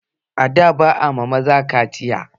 Ada ba ayi ma maza ƙaciya